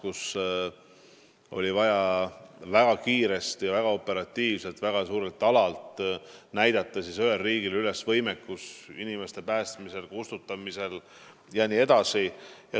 Ühel riigil oli vaja väga kiiresti, väga operatiivselt väga suurel alal üles näidata võimekust inimesi päästa ja tuld kustutada.